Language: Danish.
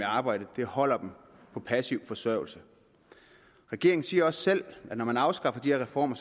arbejde holder dem på passiv forsørgelse regeringen siger også selv at når man afskaffer de her reformer